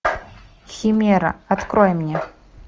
химера открой мне